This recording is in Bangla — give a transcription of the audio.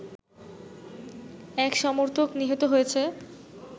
এক সমর্থক নিহত হয়েছে